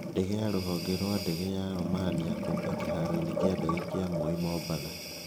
Ndege ya rũhonge rwa ndege ya Romania kũũmba kĩhaaro-inĩ kĩa ndege kĩa Moi, Mombatha.